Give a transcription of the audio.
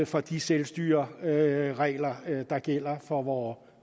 for de selvstyreregler der gælder for vore